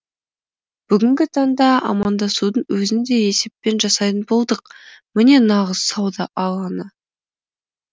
бүгінгі таңда амандасудың өзін де есеппен жасайтын болдық міне нағыз сауда алаңы